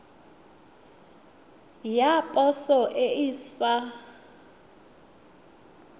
ya poso e e sa